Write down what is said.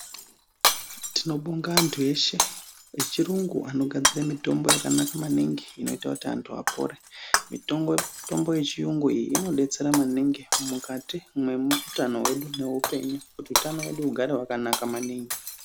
Tibobonga anthu eshe echirungu anogadzira mitombo yakanaka maningi inoite kuti anthu apore mitombo yechiyungu iyi inodetsera maningi mukati mwemutano hwedu neupenyu kuti utano hwedu hugare hwakana maningi .